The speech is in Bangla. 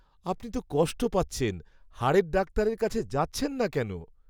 আপনি তো কষ্ট পাচ্ছেন। হাড়ের ডাক্তারের কাছে যাচ্ছেন না কেন?